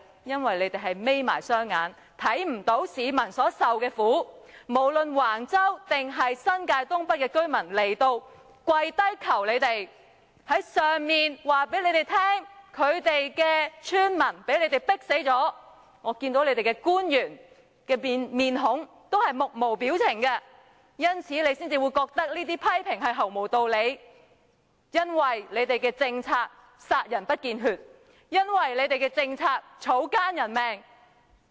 因為你們閉上了眼睛，看不到市民所受的苦，無論是橫洲還是新界東北的居民前來立法會跪求你們，告訴你們村民被你們迫死了，但我看到你們這些官員的樣子均木無表情，因此你們才會覺得我們這些批評毫無道理，因為你們的政策殺人不見血，草菅人命。